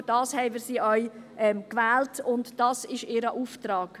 Dafür haben wir sie auch gewählt, und das ist ihr Auftrag.